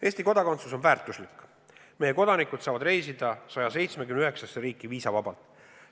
Eesti kodakondsus on palju väärt, meie kodanikud saavad reisida 179 riiki viisavabalt.